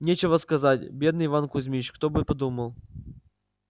нечего сказать бедный иван кузмич кто бы подумал